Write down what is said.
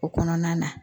O kɔnɔna na